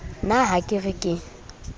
na ha ke re ke